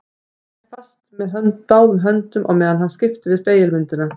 Hann hélt henni fast með báðum höndum á meðan hann skipti við spegilmyndina.